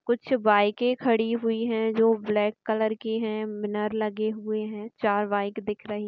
कुछ बाइके खड़ी हुई है जो ब्लैक कलर की है लगे हुए है चार बाइक दिख रही है।